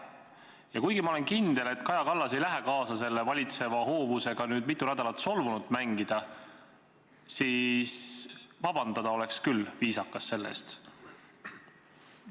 Ja kuigi ma olen kindel, et Kaja Kallas ei lähe kaasa selle valitseva hoovusega nüüd mitu nädalat solvunut mängida, siis viisakas oleks küll selle eest vabandada.